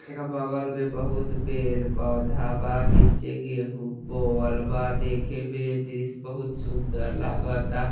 एका बगल मे बहुत पेड़ पोधा बा | नीचे गेहूं बोअल बा | देखे में दृश्य बहुत सुंदर लागाता |